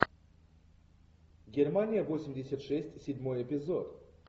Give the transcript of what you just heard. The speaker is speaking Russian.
германия восемьдесят шесть седьмой эпизод